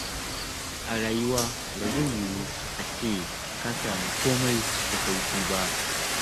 A rayuwa, ba zai yiwu a ce ka sami kome da sauƙi ba.